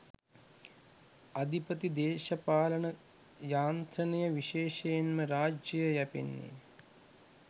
අධිපති දේශපාලන යාන්ත්‍රණය විශේෂයෙන්ම රාජ්‍යය යැපෙන්නේ